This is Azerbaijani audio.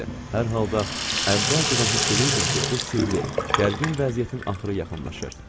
Hər halda əvvəlcədən hiss eləyirdim ki, bu sirli, gərgin vəziyyətin axırı yaxınlaşır.